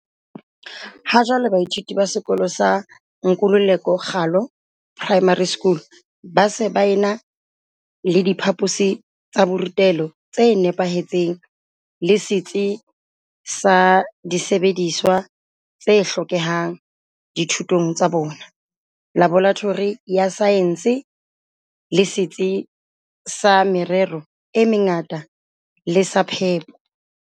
Ha jwale baithuti ba sekolo sa Nkululeko Ralo Primary School ba se ba ena le diphaposi tsa borutelo tse nepahetseng le setsi sa disebediswa t se hlokehang dithutong tsa bona, laboratori ya saense, le setsi sa merero e mengata le sa phepo.